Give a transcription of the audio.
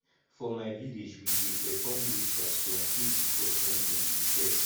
for my village we dey perform rituals to appease di gods wen dem dey vex